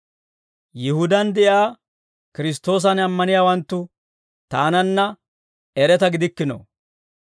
Yihudaan de'iyaa Kiristtoosan ammaniyaawanttu taananna eretaa gidikkino.